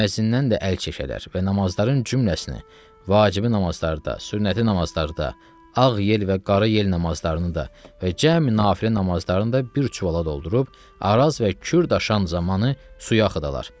Müəzzindən də əl çəkərlər və namazların cüməlsinə, vacibi namazlarda, sünnəti namazlarda, ağ yel və qarı yel namazlarını da və cəmi nafilə namazlarını da bir çuvala doldurub, Araz və Kür daşan zamanı suya axıdalar.